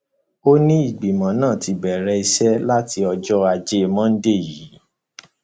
ó ní ìgbìmọ náà ti bẹrẹ iṣẹ láti ọjọ ajé monde yìí